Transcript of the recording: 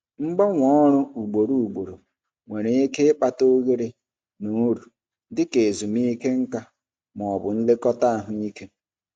Mgbanwe ọrụ ugboro ugboro nwere ike ịkpata oghere na uru dị ka ezumike nka ma ọ bụ nlekọta ahụike.